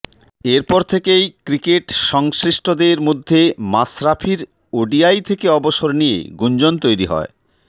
এরপর থেকেই ক্রিকেট সংশ্লিষ্টদের মধ্যে মাশরাফির ওডিআই থেকে অবসর নিয়ে গুঞ্জন তৈরি হয়